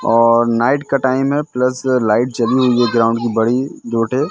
और नाइट का टाइम है प्लस लाइट जली हुई है ग्राउंड की बड़ी दो थे--